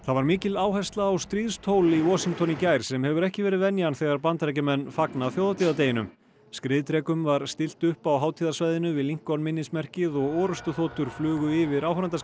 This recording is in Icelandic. var mikil áhersla á stríðstól í Washington í gær sem hefur ekki verið venjan þegar Bandaríkjamenn fagna þjóðhátíðardeginum skriðdrekum var stillt upp á hátíðarsvæðinu við Lincoln minnismerkið og orrustuþotur flugu yfir